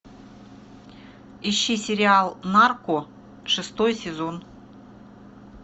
ищи сериал нарко шестой сезон